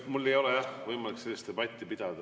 Meil ei ole võimalik sellist debatti pidada.